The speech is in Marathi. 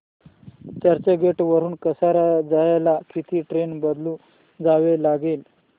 चर्चगेट वरून कसारा जायला किती ट्रेन बदलून जावे लागेल